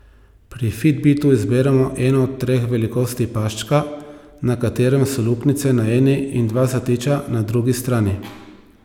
Pri fitbitu izberemo eno od treh velikosti paščka, na katerem so luknjice na eni in dva zatiča na drugi strani.